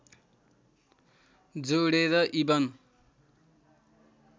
जोडेर इबन